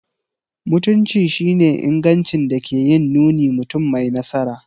Mutunci shi ne ingancin da ke yin nuni mutum mai nasara.